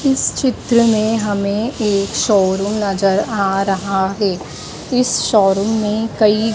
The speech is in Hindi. इस चित्र में हमें एक शो रुम नजर आ रहा है इस शो रुम में कई--